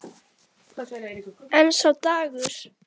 En sá dagur!